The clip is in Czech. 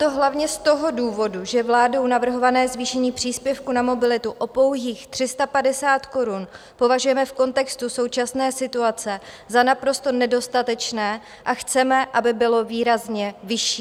To hlavně z toho důvodu, že vládou navrhované zvýšení příspěvku na mobilitu o pouhých 350 korun považujeme v kontextu současné situace za naprosto nedostatečné a chceme, aby bylo výrazně vyšší.